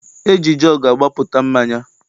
E ji jọọgụ agbapụta mmanya.